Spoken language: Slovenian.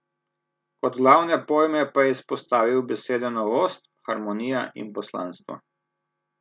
Kot glavne pojme pa je izpostavil besede novost, harmonija in poslanstvo.